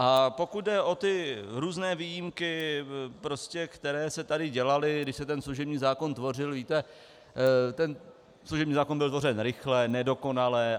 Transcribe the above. A pokud jde o ty různé výjimky, které se tady dělaly, když se ten služební zákon tvořil, víte, ten služební zákon byl tvořen rychle, nedokonale.